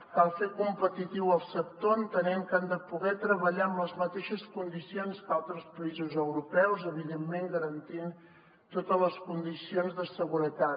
cal fer competitiu el sector entenent que han de poder treballar en les mateixes condicions que altres països europeus evidentment garantint totes les condicions de seguretat